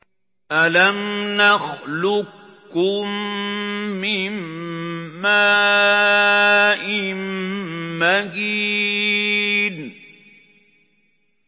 أَلَمْ نَخْلُقكُّم مِّن مَّاءٍ مَّهِينٍ